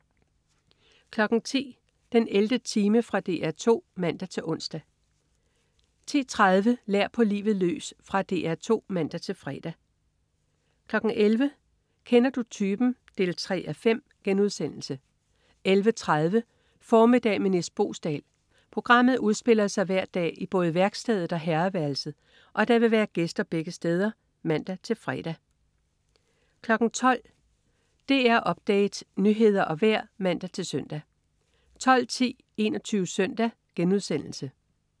10.00 den 11. time. Fra DR 2 (man-ons) 10.30 Lær på livet løs. Fra DR 2 (man-fre) 11.00 Kender du typen? 3:5* 11.30 Formiddag med Nis Boesdal. Programmet udspiller sig hver dag i både værkstedet og herreværelset, og der vil være gæster begge steder (man-fre) 12.00 DR Update. Nyheder og vejr (man-søn) 12.10 21 Søndag*